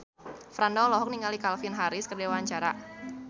Franda olohok ningali Calvin Harris keur diwawancara